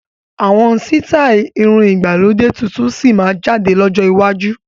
Àwọn sítai irun ìgbàlódé tuntun síí máa jáde lọ́jọ́ iwájú